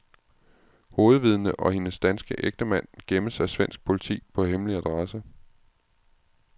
Hovedvidnet og hendes danske ægtemand gemmes af svensk politi på hemmelig adresse.